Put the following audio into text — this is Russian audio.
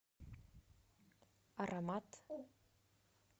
аромат